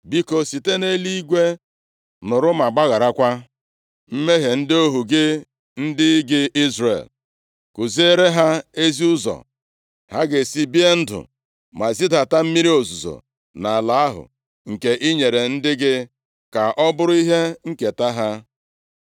biko, site nʼeluigwe nụrụ ma gbagharakwa mmehie ndị ohu gị, ndị gị Izrel. Kuziere ha ezi ụzọ ha ga-esi bie ndụ ma zidata mmiri ozuzo nʼala ahụ nke i nyere ndị gị ka ọ bụrụ ihe nketa ha.